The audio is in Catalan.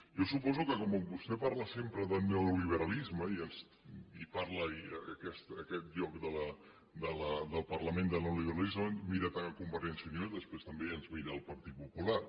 jo suposo que com que vostè parla sempre del neoliberalisme i parla a aquest lloc del parlament de neoliberalisme mira també convergència i unió i després també ens mira al partit popular